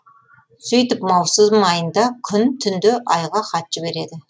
сөйтіп маусым айында күн түнде айға хат жібереді